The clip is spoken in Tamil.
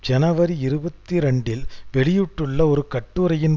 ஜனவரி இருபத்தி இரண்டில் வெளியிட்டுள்ள ஒரு கட்டுரையின்